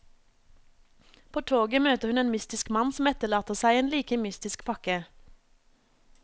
På toget møter hun en mystisk mann som etterlater seg en like mystisk pakke.